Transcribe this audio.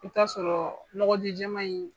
I bi t'a sɔrɔ nɔgɔ ji jɛma in